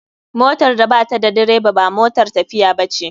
Motar da bata da direba ba motar tafiiya bace.